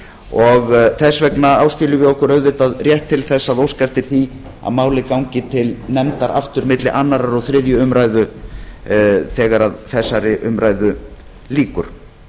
og þess vegna áskiljum við okkur auðvitað rétt til þess að óska eftir því að málið gangi til nefndar aftur milli annars og þriðju umræðu þegar þessari umræðu lýkur